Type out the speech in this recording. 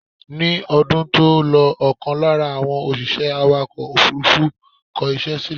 Ni ọdún tó lọ ọkàn lára àwọn òṣìṣẹ́ awàkọ̀ òfúrúfú kọ ìṣe sílè